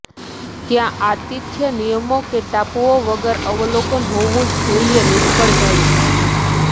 ત્યાં આતિથ્ય નિયમો કે ટાપુઓ વગર અવલોકન હોવું જ જોઈએ નિષ્ફળ જાય છે